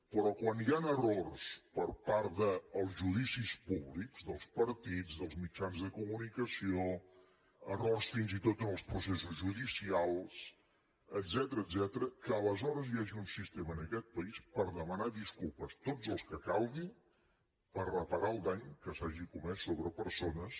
però quan hi han errors per part dels judicis públics dels partits dels mitjans de comunicació errors fins i tot en els processos judicials etcètera que aleshores hi hagi un sistema en aquest país per demanar disculpes totes les que calguin per reparar el dany que s’hagi comès sobre persones